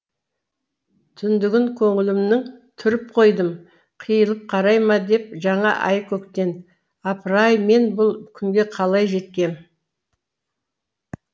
түндігін көңілімнің түріп қойдым қиылып қарай ма деп жаңа ай көктен апыр ай мен бұл күнге қалай жеткем